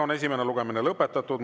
Esimene lugemine on lõpetatud.